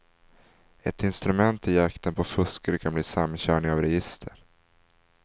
Ett instrument i jakten på fuskare kan bli samkörning av register.